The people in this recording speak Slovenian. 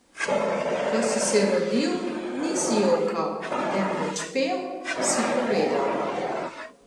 Ko si se rodil, nisi jokal, temveč pel, si povedal.